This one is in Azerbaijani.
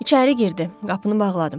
İçəri girdi, qapını bağladım.